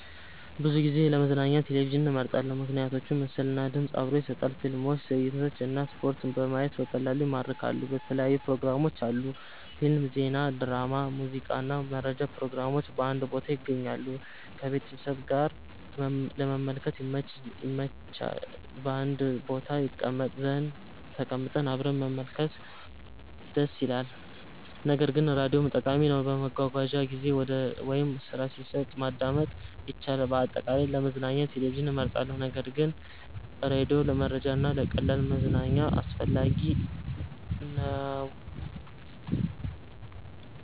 ብዙ ጊዜ ለመዝናኛ ቴሌቪዥንን እመርጣለሁ። ምክንያቶች ምስል እና ድምፅ አብሮ ይሰጣል – ፊልሞች፣ ትዕይንቶች እና ስፖርት በማየት በቀላሉ ይማርካሉ። የተለያዩ ፕሮግራሞች አሉ – ፊልም፣ ዜና፣ ድራማ፣ ሙዚቃ እና መረጃ ፕሮግራሞች በአንድ ቦታ ይገኛሉ። ከቤተሰብ ጋር ለመመልከት ይመች – በአንድ ቦታ ተቀምጠን አብረን መመልከት ደስ ይላል። ነገር ግን ራዲዮም ጠቃሚ ነው፤ በመጓጓዣ ጊዜ ወይም ስራ ሲሰራ ማዳመጥ ይቻላል። አጠቃላይ፣ ለመዝናኛ ቴሌቪዥን እመርጣለሁ ነገር ግን ራዲዮ ለመረጃ እና ለቀላል መዝናኛ አስፈላጊ ነው።